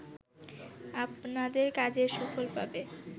আপনাদের কাজের সুফল পাবে